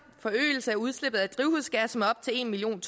forøgelse af udslippet af drivhusgas med op til en million